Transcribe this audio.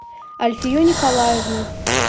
альфию николаевну